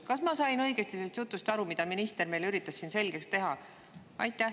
Kas ma sain õigesti sellest aru, mida minister meile üritas siin selgeks teha?